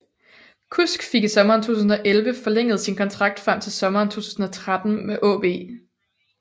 Kusk fik i sommeren 2011 forlænget sin kontrakt frem til sommeren 2013 med AaB